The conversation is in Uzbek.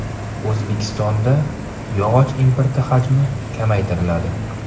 O‘zbekistonda yog‘och importi hajmi kamaytiriladi.